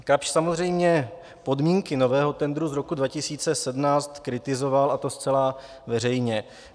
Kapsch samozřejmě podmínky nového tendru z roku 2017 kritizoval, a to zcela veřejně.